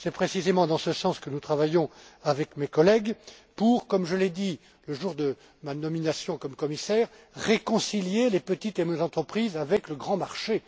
fiscalité. C'est précisément dans ce sens que nous travaillons avec mes collègues pour, comme je l'ai dit le jour de ma nomination en tant que commissaire, réconcilier les petites et moyennes entreprises avec le grand